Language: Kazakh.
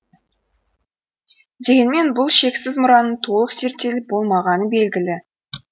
дегенмен бұл шексіз мұраның толық зерттеліп болмағаны белгілі